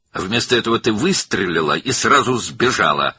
Bunun əvəzinə sən atəş açdın və dərhal qaçdın.